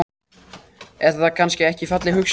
Er það kannski ekki falleg hugsjón?